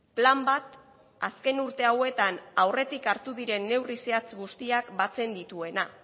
plan bat azken urte hauetan aurretik hartu diren neurri zehatz guztiak batzen dituena